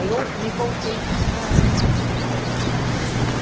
Aí eu me voltei sempre para a área comercial, departamento comercial.